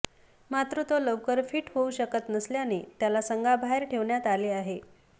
मात्र तो लवकर फिट होऊ शकत नसल्याने त्याला संघाबाहेर ठेवण्यात आले आहे